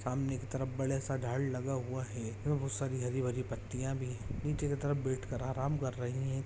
सामने की तरफ बड़ा सा झाड़ लगा हुआ है एवं बहुत सारी हरी भरी पतियाँ भी है नीचे की तरफ बैठ कर आराम कर रहे हैं ।